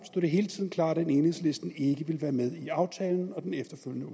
det hele tiden klart at enhedslisten ikke ville være med i aftalen og den efterfølgende